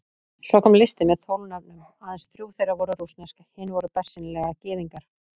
Svo kom listi með tólf nöfnum, aðeins þrjú þeirra voru rússnesk, hinir voru bersýnilega Gyðingar.